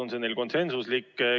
Oli see neil konsensuslik?